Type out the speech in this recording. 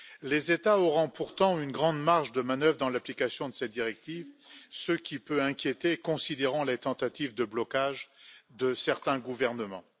Les États auront pourtant une grande marge de manœuvre dans l'application de cette directive, ce qui peut inquiéter, compte tenu des tentatives de blocage de certains gouvernements.